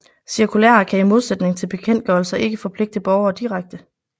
Cirkulærer kan i modsætning til bekendtgørelser ikke forpligte borgere direkte